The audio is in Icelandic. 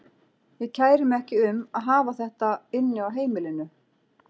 Ég kæri mig ekki um að hafa þetta inni á heimilinu.